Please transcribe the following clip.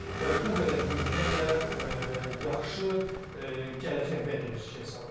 və bu qədər büdcə ilə yaxşı gələcək vəd edir Chelsea adına.